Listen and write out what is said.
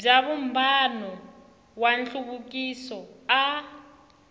bya vumbano wa nhluvukiso a